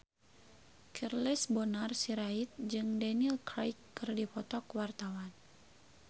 Charles Bonar Sirait jeung Daniel Craig keur dipoto ku wartawan